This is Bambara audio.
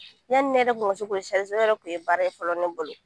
Yanni ne yɛrɛ tun ka se k'o o yɛrɛ tun ye baara ye fɔlɔ ne bolo